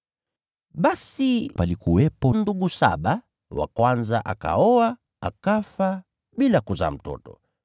Basi palikuwepo ndugu saba. Yule wa kwanza akaoa, akafa bila kuzaa mtoto.